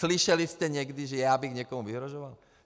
Slyšeli jste někdy, že já bych někomu vyhrožoval?